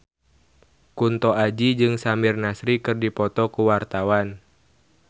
Kunto Aji jeung Samir Nasri keur dipoto ku wartawan